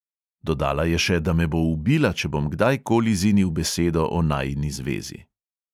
Dodala je še, da me bo ubila, če bom kdajkoli zinil besedo o najini zvezi.